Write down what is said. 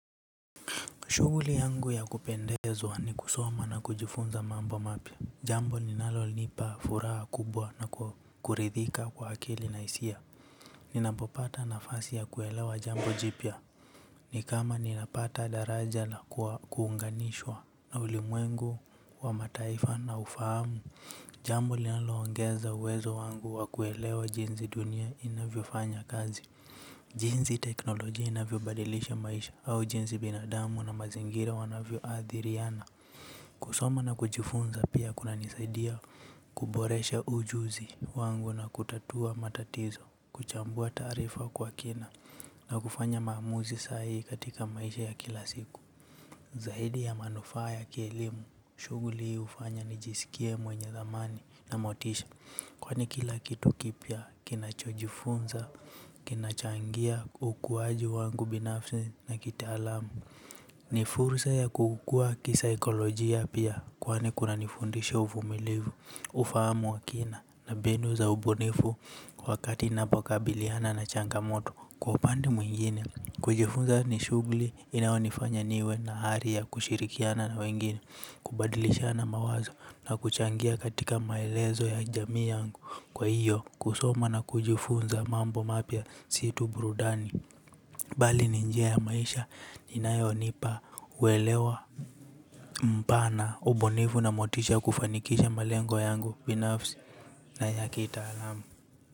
Shughuli yangu ya kupendezwa ni kusoma na kujifunza mambo mapya. Jambo linalonipa furaha kubwa na kuridhika kwa akili na hisia. Ninapopata nafasi ya kuelewa jambo jipya. Ni kama ninapata daraja na kuunganishwa. Na ulimwengu wa mataifa na ufahamu. Jambo linaloongeza uwezo wangu wa kuelewa jinzi dunia inavyofanya kazi. Jinzi teknoloji inavyobadilisha maisha au jinzi binadamu na mazingira wanavyoathiriana. Kusoma na kujifunza pia kunanisaidia kuboresha ujuzi wangu na kutatua matatizo. Kuchambua taarifa kwa kina na kufanya maamuzi saa hii katika maisha ya kila siku. Zaidi ya manufaa ya kielimu shughuli hufanya nijisikie mwenye dhamani na motisha. Kwani kila kitu kipya kinachojifunza, kinachangia ukuwaji wangu binafsi na kitaalamu. Ni fursa ya kukukua kisaikolojia pia kwani kunanifundisha uvumilivu, ufahamu wa kina na mbinu za ubunifu wakati napokabiliana na changa moto kwa upande mwingine. Kujifunza ni shughuli inaonifanya niwe na ari ya kushirikiana na wengine. Kubadilishana mawazo na kuchangia katika maelezo ya jamii yangu kwa hiyo kusoma na kujifunza mambo mapya si tu burudani. Bali ni njia ya maisha inayonipa uelewa mpana ubunivu na motisha kufanikisha malengo yangu binafsi na ya kitaalamu.